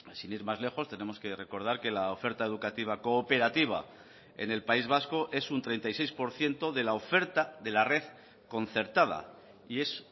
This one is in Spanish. sin ir más lejos tenemos que recordar que la oferta educativa cooperativa en el país vasco es un treinta y seis por ciento de la oferta de la red concertada y es